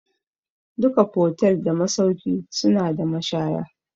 Duka fotel da masauki suna da mashaya